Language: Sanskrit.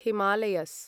हिमालयस्